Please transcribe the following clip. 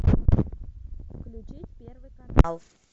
включи первый канал